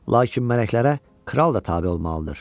Lakin mələklərə kral da tabe olmalıdır.